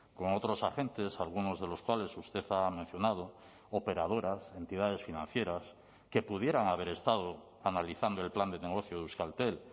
con otros agentes algunos de los cuales usted ha mencionado operadoras entidades financieras que pudieran haber estado analizando el plan de negocio de euskaltel